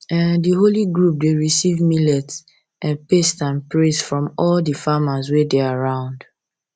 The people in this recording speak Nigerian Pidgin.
um the holy group dey receive millet um paste and praise from all the farmers wey dey around